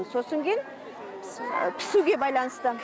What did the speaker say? сосын кейін пісуге байланысты